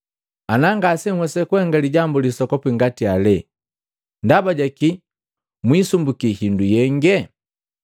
Ana ngasenhwesa kuhenga lijambu lisoku ngati heli, ndaba ja kii muisumbuki hindu yenge?